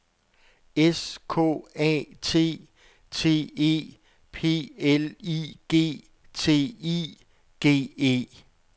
S K A T T E P L I G T I G E